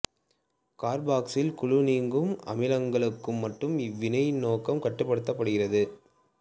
carboxyl குழு நீங்கும் அமிலங்களுக்கு மட்டும் இவ்வினையின் நோக்கம் கட்டுப்படுத்தப்படுகிறது